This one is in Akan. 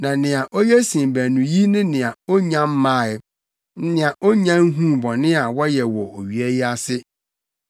Na nea oye sen baanu yi ne nea onnya mmae, nea onnya nhuu bɔne a wɔyɛ wɔ owia yi ase.